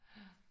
Ja